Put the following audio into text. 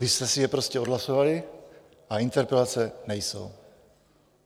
Vy jste si to prostě odhlasovali a interpelace nejsou.